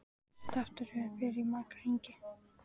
Þessi þáttaröð fer í marga hringi.